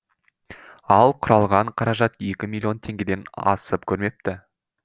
ал құралған қаражат екі миллион теңгеден асып көрмепті